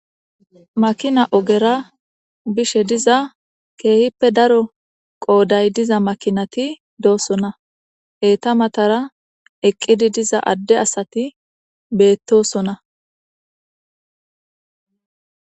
Makina ogera bishe diza keehippe daro qooday diza makinati doosona eeta matara eqqidi diza adde asati beettosona.